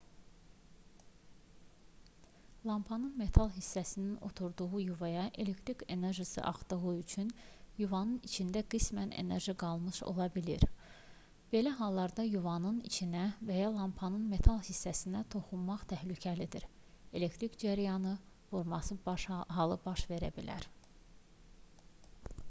lampanın metal hissəsinin oturduğu yuvaya elektrik enerjisi axdığı üçün yuvanın içində qismən enerji qalmış ola bilər belə halda yuvanın içinə və ya lampanın metal hissəsinə toxunmaq təhlükəlidir elektrik cərəyanın vurması halı baş verə bilər